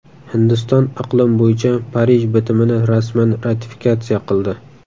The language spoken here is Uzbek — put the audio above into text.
Hindiston iqlim bo‘yicha Parij bitimini rasman ratifikatsiya qildi.